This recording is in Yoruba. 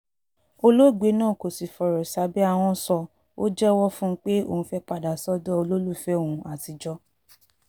olóògbé náà kò sì fọ̀rọ̀ sábẹ́ ahọ́n ṣó o jẹ́wọ́ fún un pé òun fẹ́ẹ́ padà sọ́dọ̀ olólùfẹ́ òun àtijọ́